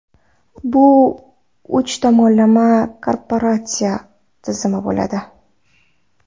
Bu uch tomonlama kooperatsiya tizimi bo‘ladi.